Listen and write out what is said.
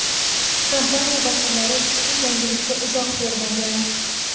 Kompaniya vakillari ushbu yangilikka izoh bermagan.